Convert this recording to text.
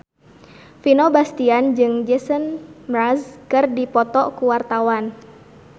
Vino Bastian jeung Jason Mraz keur dipoto ku wartawan